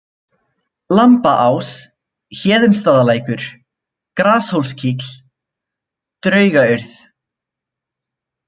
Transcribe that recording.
Lambabás, Héðinsstaðalækur, Grashólskýll, Draugaurð